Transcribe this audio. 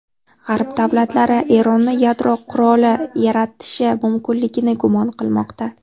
G‘arb davlatlari Eronni yadro quroli yaratishi mumkinligini gumon qilmoqda.